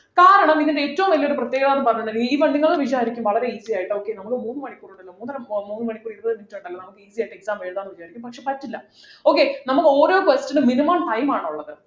കാരണം നിങ്ങക്ക് ഏറ്റവും വലിയ ഒരു പ്രത്യേകതാന്നു പറഞ്ഞിട്ടുണ്ടെങ്കില് ഇപ്പൊ നിങ്ങൾ വിചാരിക്കും വളരെ easy ആയിട്ട് okay നമ്മൾ മൂന്നു മണിക്കൂറുണ്ടല്ലോ മൂന്നര മൂന്നു മണിക്കൂറിർ ഇരുപത് minute ഉണ്ടല്ലോ നമുക്ക് easy യായിട്ട് exam എഴുതാം എന്ന് വിചാരിക്കും പക്ഷേ പറ്റില്ല okay നമ്മൾ ഓരോ question നും minimum time ആണുള്ളത്